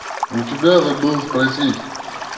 у тебя забыл спросить